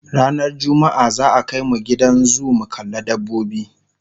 ranar jumma'a za'a Kai mu Gidan zoo mu kalla dabbobi